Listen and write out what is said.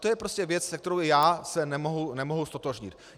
To je prostě věc, se kterou já se nemohu ztotožnit.